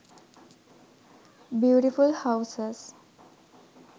beautiful houses